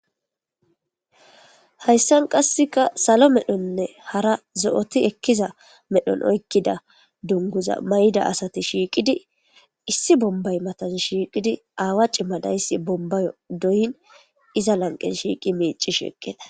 hayssan qasseka salo medhonne hara zo7oti ekkiza medhon oykkida dunguza may7da asati shiiqidi issi bombay matazi shiiqidi aawa cima dayssi bombay doyin iza lanqe shiiqi meeci sheeqqeda